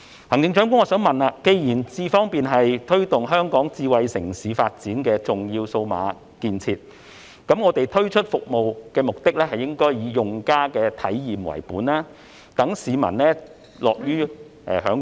行政長官，既然"智方便"是推動香港智慧城市發展的重要數碼建設，政府推出服務的目的應該以用家體驗為本，市民才會樂於享用。